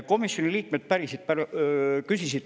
Komisjoni liikmed küsisid päris palju küsimusi.